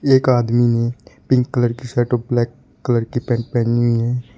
एक आदमी ने पिंक कलर की शर्ट ब्लैक कलर की पेंट पेहनी हुई है।